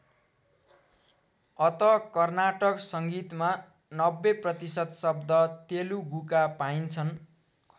अत कर्नाटक संगीतमा ९० प्रतिशत शब्द तेलुगुका पाइन्छन्।